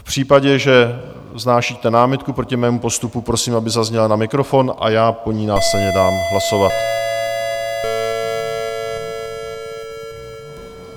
V případě, že vznášíte námitku proti mému postupu, prosím, aby zazněla na mikrofon, a já o ní následně dám hlasovat.